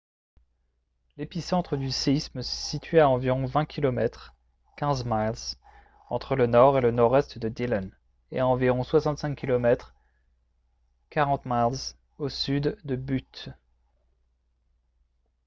l'épicentre du séisme se situait a environ 20 km 15 miles entre le nord et le nord-est de dillon et à environ 65 km 40 miles au sud de butte